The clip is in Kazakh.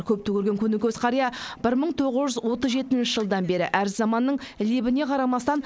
көпті көрген көнекөз қария бір мың тоғыз жүз отыз жетінші жылдан бері әр заманның лебіне қарамастан